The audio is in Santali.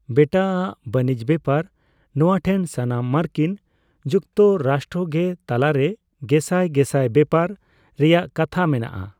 ᱵᱮᱴᱟ ᱟᱜ ᱵᱟᱱᱤᱡᱽ ᱵᱮᱯᱟᱨᱼᱱᱚᱣᱟ ᱴᱷᱮᱱ ᱥᱟᱱᱟᱢ ᱢᱟᱨᱠᱤᱱ ᱡᱩᱠᱛᱚ ᱨᱟᱥᱴᱨᱚ ᱜᱮ ᱛᱟᱞᱟ ᱨᱮ ᱜᱮᱥᱟᱭ ᱜᱮᱥᱟᱭ ᱵᱮᱯᱟᱨ ᱨᱮᱭᱟᱜ ᱠᱟᱛᱷᱟ ᱢᱮᱱᱟᱜᱼᱟ ᱾